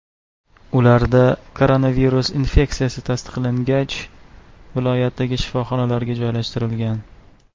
Ularda koronavirus infeksiyasi tasdiqlangach, viloyatdagi shifoxonalarga joylashtirilgan.